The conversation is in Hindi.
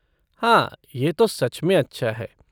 हाँ, यह तो सच में अच्छा है।